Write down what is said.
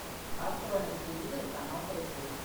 открой на телевизоре канал карусель